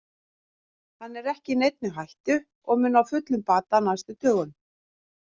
Hann er ekki í neinni hættu og mun ná fullum bata á næstu dögum.